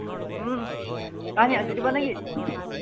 উম সি আজি দিব নেকি?